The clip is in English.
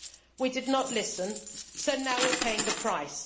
We did not listen, so now we are paying the price.